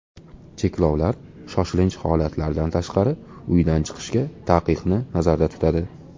Cheklovlar shoshilinch holatlardan tashqari uydan chiqishga taqiqni nazarda tutadi.